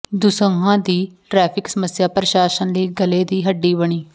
ਦਸੂਹਾ ਦੀ ਟ੍ਰੈਫਿਕ ਸਮੱਸਿਆ ਪ੍ਰਸ਼ਾਸਨ ਲਈ ਗਲੇ ਦੀ ਹੱਡੀ ਬਣੀ